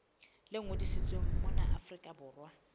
le ngodisitsweng mona afrika borwa